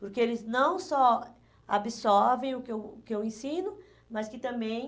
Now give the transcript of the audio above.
Porque eles não só absorvem o que eu o que eu ensino, mas que também...